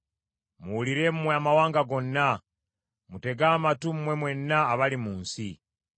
Muwulire mmwe amawanga gonna, mutege amatu mmwe mwenna abali mu nsi.